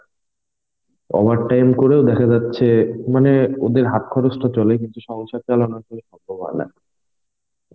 overtime করেও দেখা যাচ্ছে মানে ওদের হাত খরচটা চলে, কিন্তু সংসার চালানো